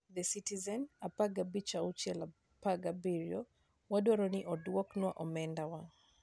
The Citizen, 15/6/17: "Wadwaro ni odwoknwa omendawa".